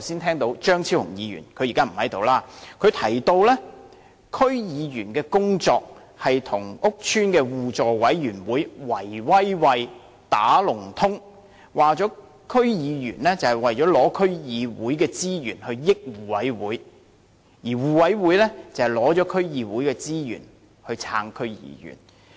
例如張超雄議員——他現在不在席——我剛才聽到他指區議員在工作上與屋邨的互助委員會"圍威喂"、"打龍通"，說區議員旨在拿取區議會的資源，令互委會獲益，而互委會則利用從區議會獲取的資源來支持區議員。